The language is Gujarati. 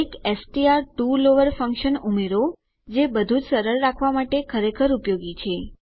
એક એસટીઆર ટીઓ લોવર ફંક્શન ઉમેરો જે બધું જ સરળ રાખવા માટે ખરેખર ઉપયોગી છે